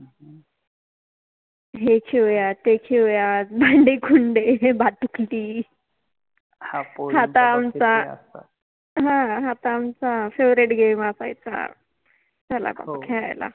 हे खेळुयात, ते खेळुयात, भांडे कुंडे, भातुकलि, ह हा त आमचा FavouriteGame असायचा, चला बाबा खेळायला